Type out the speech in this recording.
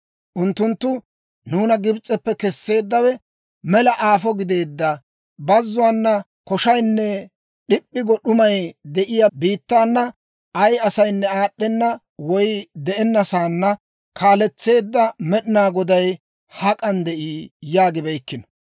Unttunttu, ‹Nuuna Gibs'eppe kesseeddawe, mela aafo gideedda bazzuwaana, koshaynne d'ip'p'i go d'umay de'iyaa biittaana, ay asaynne aad'd'enna woy de'enna saanna kaaletseedda Med'inaa Goday hak'an de'ii?› yaagibeykkino.